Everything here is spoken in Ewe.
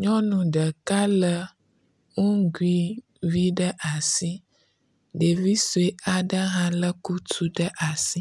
Nyɔnu ɖeka le nugui vi ɖe asi. Ɖevi sue aɖe hã le kusi vi ɖe asi.